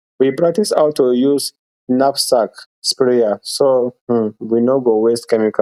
we practice how to use knapsack sprayer so um we no go waste chemical